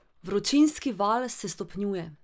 Vročinski val se stopnjuje.